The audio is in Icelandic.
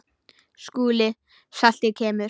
SKÚLI: Saltið kemur.